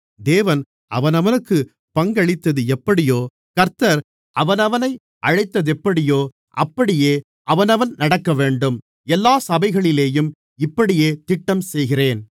தேவன் அவனவனுக்குப் பங்களித்தது எப்படியோ கர்த்தர் அவனவனை அழைத்ததெப்படியோ அப்படியே அவனவன் நடக்கவேண்டும் எல்லாச் சபைகளிலேயும் இப்படியே திட்டம் செய்கிறேன்